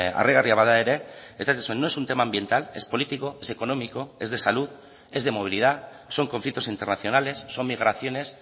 harrigarria bada ere esaten zuen no es un tema ambiental es político es económico es de salud es de movilidad son conflictos internacionales son migraciones